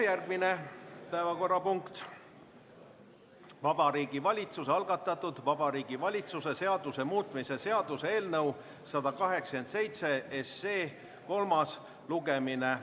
Järgmine päevakorrapunkt on Vabariigi Valitsuse algatatud Vabariigi Valitsuse seaduse muutmise seaduse eelnõu 187 kolmas lugemine.